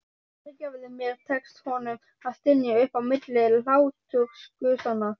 Fyrirgefðu mér, tekst honum að stynja upp á milli hlátursgusanna.